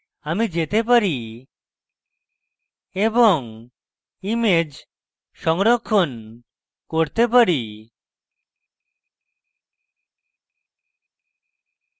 আমি যেতে পারি এবং image সংরক্ষণ করতে পারি